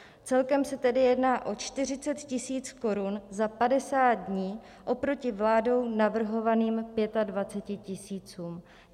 Celkem se tedy jedná o 40 tisíc korun za 50 dní oproti vládou navrhovaným 25 tisícům.